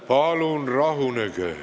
Palun rahunege!